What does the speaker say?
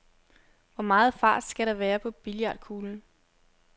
Hvor meget fart skal der være på billiardkuglen?